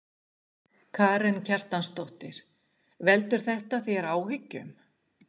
Karen Kjartansdóttir: Veldur þetta þér áhyggjum?